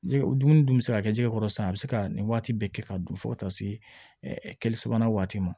Jɛgɛ dumuni dun bɛ se ka kɛ jɛgɛ kɔrɔ sisan a bɛ se ka nin waati bɛɛ kɛ ka don fo ka taa se kɛ sabanan waati ma